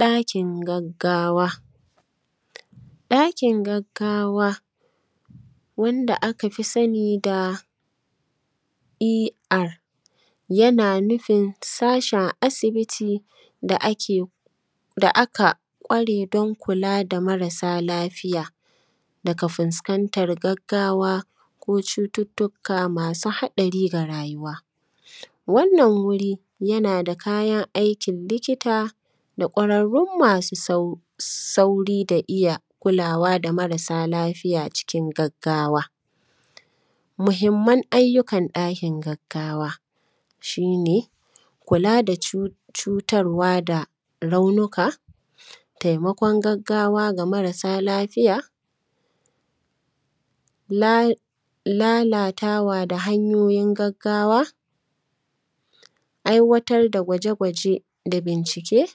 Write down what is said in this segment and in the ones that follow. ɗakin gagawa. ɗakin gaggawa wanda aka fi sani da er yana nufin sashin asibiti da ake da aka kware don kula da marasa lafiya daga fuskantar gaggawa ko cututtuka masu haɗari ga rayuwa, wannan wurin yana da kayan aikin likita da kwararrun masu sauri da iya haɗawa da marasa lafiya aikin gaggawa. Muhinman ayyukan ɗakin gaggawa shi ne kula da cutar wa da raunuka, taimkon gaggawa ga marasa lafiya, latata wa da hanyoyin gaggawa, aiwatar da gwaje-gwaje da bincike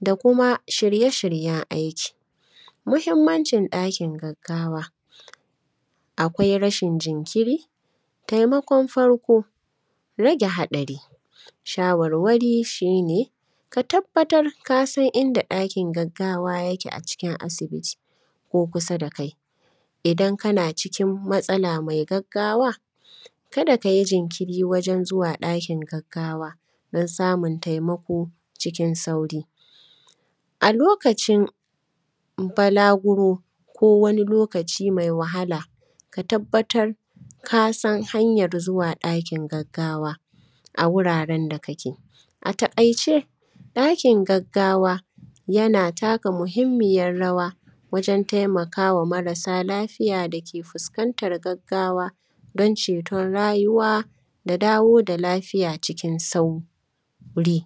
da kuma shirye-shiryen aiki. Mahinmancin ɗakin gaggawa, akwai rashin jinkiri, taimakon farko, rage haɗari, shawarwari shi ne ka tabbatar ka san inda ɗakin gaggawa yake a cikin asibiti ko kusa da kai. Idan kana cikin matsala mai gaggawa ka da ka yi jinkiri wajen zuwa ɗakin gaggawa dan samun taimako cikin sauri a lokacin balaguro ko wani lokaci mai wahala, ka tabbatar ka san hanyan zuwa ɗakin gaggawa a wurare da kake. A taƙaice, ɗakin gaggawa yana taka muhinmiyar rawa wajen taimakawa marasa lafiya da ke fuskantan gaggawa don cetan rayuwa da dawo da lafiya cikin sauri.